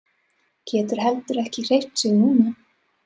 Getur heldur ekki hreyft sig núna.